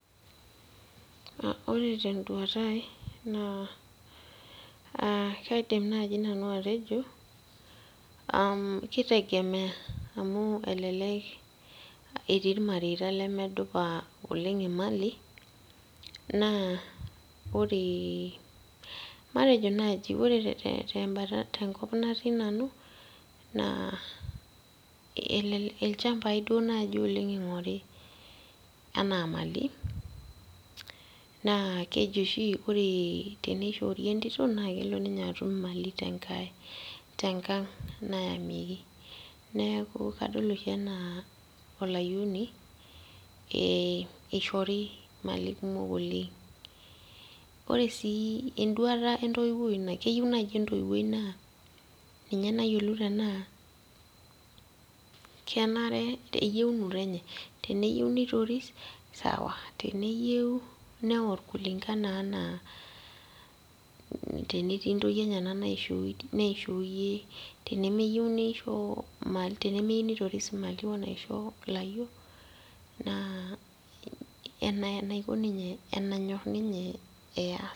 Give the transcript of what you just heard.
Ore tenduata ai naa uh kaidim nanu atejo umh kitegemeya amu elelek etii irmareita lemedupa oleng' imali naa oree matejo naaji ore te tembata tenkop natii nanu naa elel ilchambai duo naaji oleng ing'ori enaa imali naa keji oshi ore teneishoori entito naa kelo ninye atum imali tenkae tenkang' nayamieki neeku kadol oshi anaa olayioni eh eishori imali kumok oleng' ore sii enduata entoiwuoi ina keyieu naaji entoiwuoi naa ninye nayiolou tenaa kenare eyieunoto enye teneyieu nitoris sawa teneyieu neorr kulingana anaa tenetii intoyie enyenak naishooyie tenemeyieu neisho imali tenemeyieu nitoris imali onaisho ilayiok naa enaiko ninye enanyorr ninye eyas.